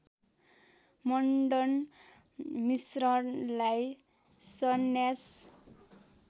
मण्डन मिश्रलाई सन्यास